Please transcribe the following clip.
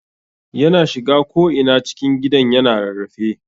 Yana shiga ko'ina cikin gidan yana rarrafe.